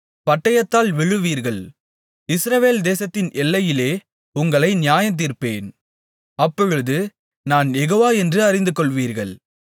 பட்டயத்தால் விழுவீர்கள் இஸ்ரவேல் தேசத்தின் எல்லையிலே உங்களை நியாயந்தீர்ப்பேன் அப்பொழுது நான் யெகோவா என்று அறிந்துகொள்வீர்கள்